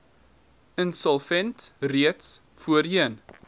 insolvent reeds voorheen